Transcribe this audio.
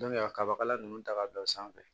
kabakala ninnu ta ka bila o sanfɛ